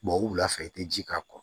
o wulafɛ i te ji k'a kɔ